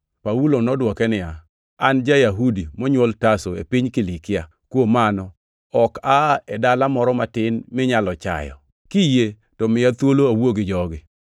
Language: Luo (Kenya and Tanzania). Paulo nodwoke niya, “An ja-Yahudi monywol Tarso, e piny Kilikia. Kuom mano, ok aa e dala moro matin minyalo chayo. Kiyie, to miya thuolo awuo gi jogi.”